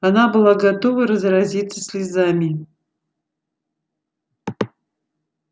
она была готова разразиться слезами